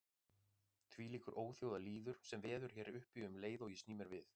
Þvílíkur óþjóðalýður sem veður hér uppi um leið og ég sný mér við.